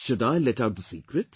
Should I let out the secret